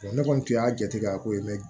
ne kɔni tun y'a jate ko ne